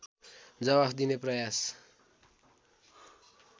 जवाफ दिने प्रयास